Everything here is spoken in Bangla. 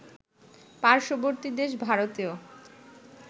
পার্শ্ববর্তী দেশ ভারতেও